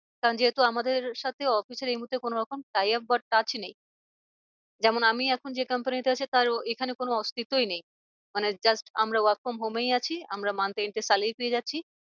কারণ যেহেতু আমাদের সাথে office এর এই মুহূর্তে কোনো রকম try up বা touch নেই যেমন আমি এখন যে comapny তে আছি তার এখানে কোনো অস্তিত্বই নেই। মানে just আমরা work from home এই আছি। আমরা month end এ salary পেয়ে যাচ্ছি।